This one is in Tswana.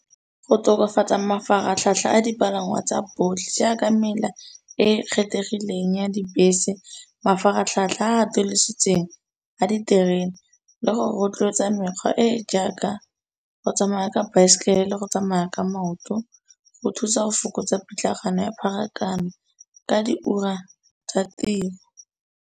Go tokafatsa mafaratlhatlha a dipalangwa tsa botlhe jaaka mela e e kgethegileng ya dibese. Mafaratlhatlha a a atolositseng a diterene le go rotloetsa mekgwa e e jaaka, go tsamaya ka baesekele le go tsamaya ka maoto go thusa go fokotsa pitlagano ya pharakano ka di ura tsa tiro.